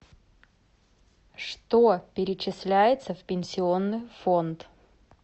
что перечисляется в пенсионный фонд